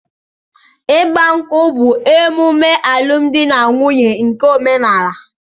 Ịgba nkwú bụ omume alụmdi na nwunye nke óménàlà.